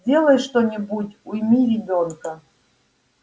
сделай что-нибудь уйми ребёнка